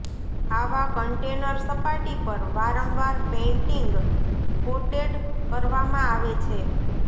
આવા કન્ટેનર સપાટી પર વારંવાર પેઇન્ટિંગ કોટેડ કરવામાં આવે છે